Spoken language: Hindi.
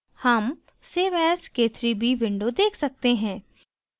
हम save as – k3b window देख सकते हैं